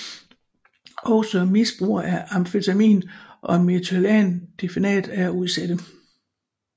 Også misbrugere af amfetamin og methylphenidat er udsatte